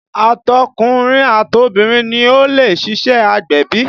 Àtọkùnrin àtọbìrin ni ó lè ṣíṣe agbẹ̀bí